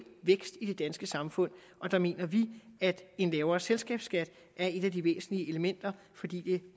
vækst i det danske samfund der mener vi at en lavere selskabsskat er et af de væsentlige elementer fordi det